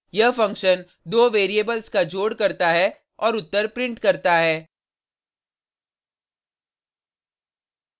यह फंक्शन दो वेरिएबल्स का जोड़ करता है और उत्तर प्रिंट करता है